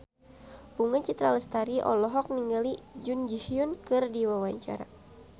Bunga Citra Lestari olohok ningali Jun Ji Hyun keur diwawancara